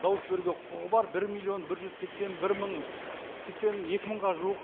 дауыс беруге құқығы бар бір миллион бір жүз сексен бір мың сексен екі мыңға жуық